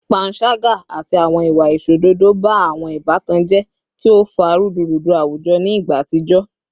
Panṣaga ati awọn iwa aiṣododo ba awọn ibatan jẹ ki o fa rudurudu awujọ ni igba atijọ